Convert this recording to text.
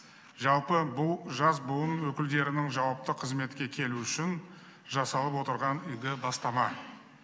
жалпы бұл жас буын өкілдерінің жауапты қызметке келуі үшін жасалып отырған игі бастама